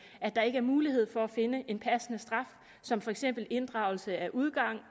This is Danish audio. der ikke er mulighed for at finde en passende straf som for eksempel inddragelse af udgang